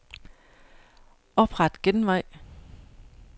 Opret genvej.